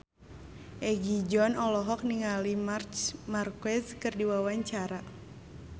Egi John olohok ningali Marc Marquez keur diwawancara